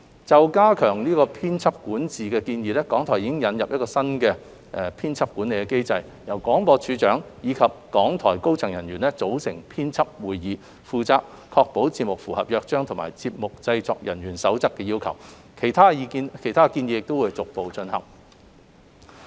就加強編輯管治的建議，港台已引入新的編輯管理機制，由廣播處長及港台高層管理人員組成編輯會議，負責確保節目符合《約章》及《節目製作人員守則》的要求，其他建議亦會逐步進行。